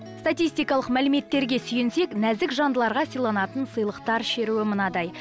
статистикалық мәліметтерге сүйенсек нәзік жандыларға сыйланатын сыйлықтар шеруі мынадай